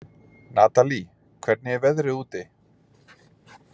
Natalí, hvernig er veðrið úti?